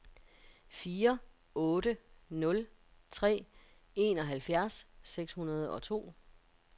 fire otte nul tre enoghalvfjerds seks hundrede og to